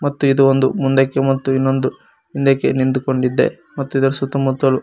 ಮತ್ತು ಇದು ಒಂದು ಮುಂದಕ್ಕೆ ಮತ್ತು ಇನ್ನೊಂದು ಹಿಂದಕ್ಕೆ ನಿಂತೂಕೊಡಿದ್ದೆ ಮತ್ತು ಇದರ ಸುತ್ತ ಮುತ್ತಲು--